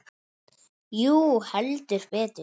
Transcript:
Jú, heldur betur.